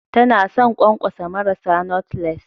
Tana son ƙwanƙwasa marasa knotleless